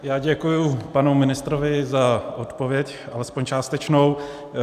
Já děkuji panu ministrovi za odpověď, alespoň částečnou.